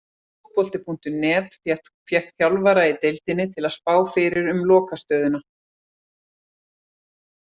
Fótbolti.net fékk þjálfarana í deildinni til að spá fyrir um lokastöðuna.